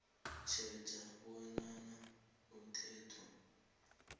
tjheja bonyana umthetho